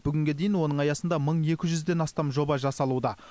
бүгінге дейін оның аясында мың екі жүзден астам жоба жасалуда